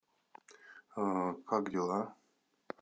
как дела